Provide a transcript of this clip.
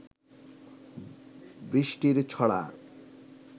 বৃষ্টির ছড়া